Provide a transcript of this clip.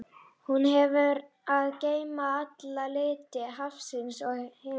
Hún hefur að geyma alla liti hafsins og himinsins.